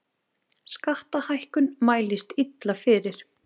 Skattahækkun mælist illa fyrir